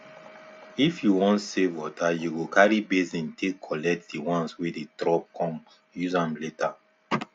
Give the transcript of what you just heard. if you want save water you go carry basin dey take collect the ones wey dey drop con use am later